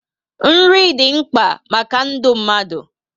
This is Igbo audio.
Nri dị mkpa maka ndụ mmadụ